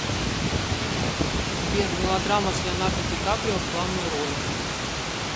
сбер мелодрама с леонардо ди каприо в главной роли